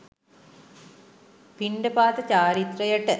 පිණ්ඩපාත චාරිත්‍රයට